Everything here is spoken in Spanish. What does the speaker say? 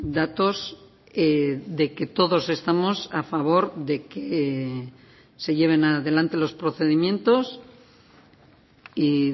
datos de que todos estamos a favor de que se lleven adelante los procedimientos y